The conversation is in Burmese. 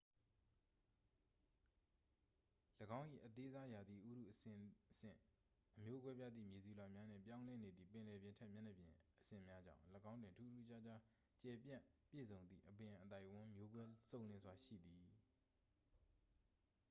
၎င်း၏ အသေးစားရာသီဥတုအဆင့်ဆင့် အမျိုးကွဲပြားသည့် မြေဆီလွှာများနှင့် ပြောင်းလဲနေသည့် ပင်လယ်ပြင်ထက်မြေမျက်နှာပြင်အဆင့်များကြောင့် ၎င်းတွင် ထူးထူးခြားခြား ကျယ်ပြန့်ပြည့်စုံသည့် အပင်အသိုက်အဝန်း မျိုးကွဲစုံလင်စွာရှိသည်